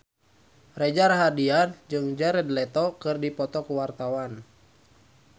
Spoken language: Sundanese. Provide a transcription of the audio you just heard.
Reza Rahardian jeung Jared Leto keur dipoto ku wartawan